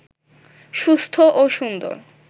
সুস্থ ও সুন্দর